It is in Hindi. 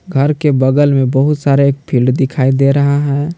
घर के बगल मे बहुत सारे एक फील्ड दिखाई दे रहा है।